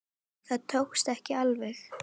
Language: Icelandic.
Það tókst ekki alveg.